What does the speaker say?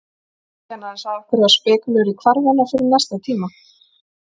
Kennarinn sagði okkur að spekúlera í hvarfi hennar fyrir næsta tíma.